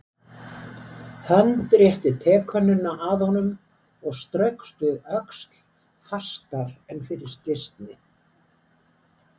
Hönd rétti tekönnuna að honum og straukst við öxl fastar en fyrir slysni.